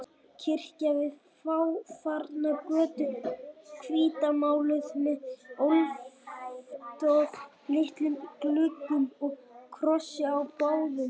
Kirkja við fáfarna götu, hvítmáluð með alltof litlum gluggum og krossi á báðum göflum.